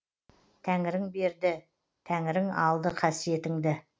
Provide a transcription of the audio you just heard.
тәңірің берді тәңірің алды қасиетіңді